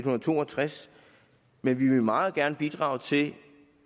og to og tres men vi vil meget gerne bidrage til